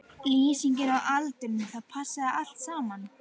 Lýsingin og aldurinn, það passaði allt saman.